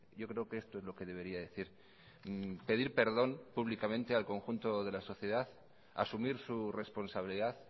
yo creo que esto es lo que debería decir pedir perdón públicamente al conjunto de la sociedad asumir su responsabilidad